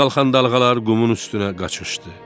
Qəfil qalxan dalğalar qumun üstünə qaçışdı.